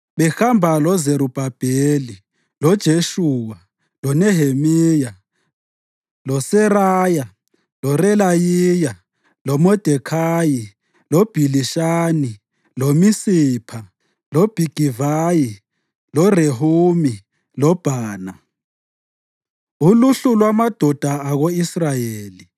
behamba loZerubhabheli, loJeshuwa, loNehemiya, loSeraya, loRelayiya, loModekhayi, loBhilishani, loMisipha, loBhigivayi, loRehumi loBhana): Uluhlu lwamadoda ako-Israyeli: